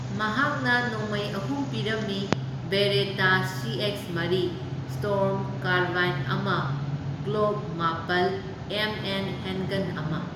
ꯃꯍꯥꯛꯅ ꯅꯣꯡꯃꯩ ꯑꯍꯨꯝ ꯄꯤꯔꯝꯃꯤ, ꯕꯦꯔꯦꯇꯥ ꯁꯤꯑꯦꯛꯁ ꯃꯔꯤ, ꯁ꯭ꯇꯣꯔꯝ ꯀꯥꯔꯕꯥꯏꯟ ꯑꯃ, ꯒ꯭ꯂꯣꯛ ꯃꯥꯄꯜ, ꯑꯦꯝ ꯑꯦꯝ ꯍꯦꯟꯒꯟ ꯑꯃ꯫